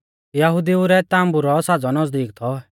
यहुदिऊ रै ताम्बु रौ साज़ौ नज़दीक थौ